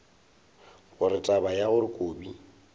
gore taba ya gore kobi